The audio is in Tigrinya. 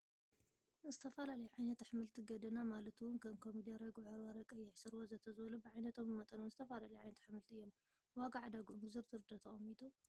ዝተፈላለዩ ዓይነት ኣሕምልቲ ገደና ማላት እውን ከም ኮሚደረ፣ ጉዕ በርበረ፣ ቀይሕ ሱር፣ ወዘተ ዝበሉ ብዓይነቶምን ብመጠኖምን ዝተፈላለዩ ዓይነታት ኣሕምልቲ እዮም፡፡ ዋጋ ዕደገኦም ብዝርዝር ዶ ተቀሚጡ?